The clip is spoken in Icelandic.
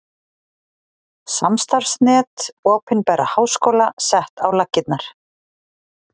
Samstarfsnet opinberra háskóla sett á laggirnar